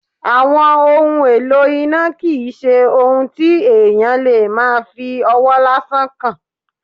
Àwọn ohun èlò iná kì í ṣe ohun tí èèyàn lè máa fi ọwọ́ lásán kàn